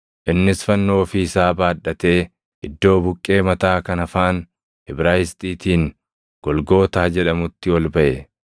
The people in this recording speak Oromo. Innis fannoo ofii isaa baadhatee iddoo Buqqee Mataa kan afaan Ibraayisxiitiin Golgootaa jedhamutti ol baʼe.